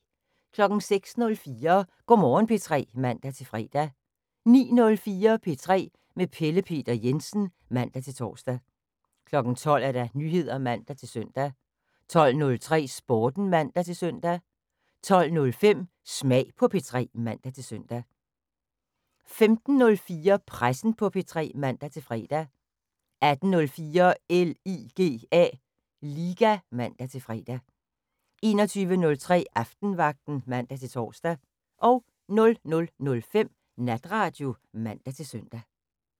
06:04: Go' Morgen P3 (man-fre) 09:04: P3 med Pelle Peter Jensen (man-tor) 12:00: Nyheder (man-søn) 12:03: Sporten (man-søn) 12:05: Smag på P3 (man-søn) 15:04: Pressen på P3 (man-fre) 18:04: LIGA (man-fre) 21:03: Aftenvagten (man-tor) 00:05: Natradio (man-søn)